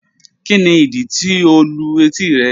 Kíni idí tí o lù etí rẹ̀?